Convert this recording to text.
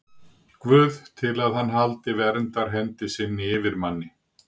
Guð til að hann haldi verndarhendi sinni yfir manni?